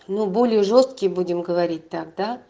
ну более жёсткие будем говорить так да